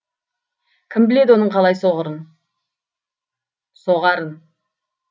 кім біледі оның қалай соғарын